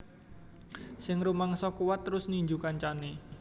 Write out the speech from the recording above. Sing rumangsa kuwat terus ninju kancane